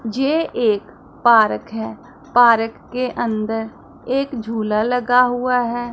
जे एक पारक है पारक के अंदर एक झूला लगा हुआ है।